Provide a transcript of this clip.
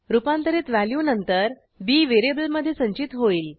रूपांतरित व्हॅल्यू नंतर B variable मधे संचित होईल